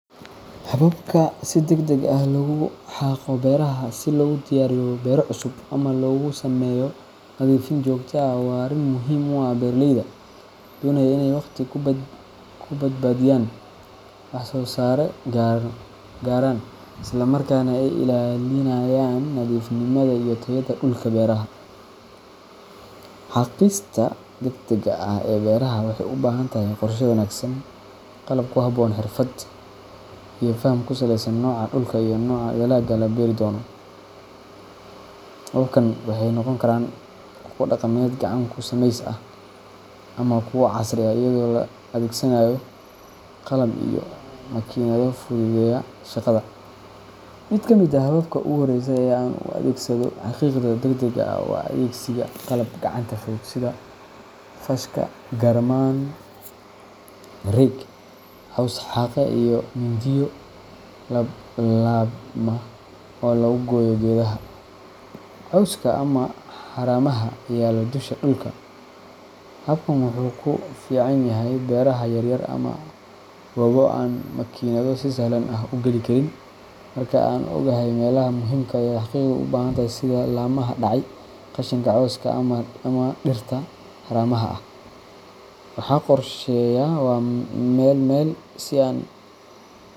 Hababka si degdeg ah loogu xaaqo beeraha si loogu diyaariyo beero cusub ama loogu sameeyo nadiifin joogto ah waa arrin muhiim u ah beeraleyda doonaya inay waqti ku badbaadiyaan, wax-soo-saar sare gaaraan, isla markaana ay ilaalinayaan nadiifnimada iyo tayada dhulka beeraha. Xaaqista degdegga ah ee beeraha waxay u baahan tahay qorshe wanaagsan, qalab ku habboon, xirfad iyo faham ku saleysan nooca dhulka iyo nooca dalagga la beeri doono. Hababkan waxay noqon karaan kuwo dhaqameed gacan ku sameys ah ama kuwo casri ah iyadoo la adeegsanayo qalab iyo makiinado fududeeya shaqada. Mid ka mid ah hababka ugu horreeya ee aan u adeegsado xaaqidda degdegga ah waa adeegsiga qalab gacanta fudud sida faashka, garmaan rake, caws-xaaqe, iyo mindiyo laab laabma oo lagu gooyo geedaha, cawska, ama haramaha yaalla dusha dhulka. Habkan wuxuu ku fiican yahay beeraha yaryar ama goobo aan makiinado si sahlan u geli karin. Marka aan ogahay meelaha muhiimka ah ee xaaqidda u baahan sida laamaha dhacay, qashinka cawska ah, ama dhirta haramaha ah waxaan qorsheeyaa meel meel, si aan.